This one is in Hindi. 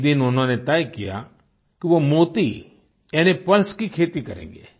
एक दिन उन्होंने तय किया कि वो मोती यानी पर्ल्स की खेती करेंगे